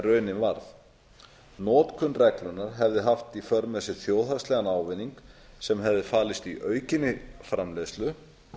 en raunin varð notkun reglunnar hefði haft í för með sér þjóðhagslegan ávinning sem hefði falist í aukinni framleiðslu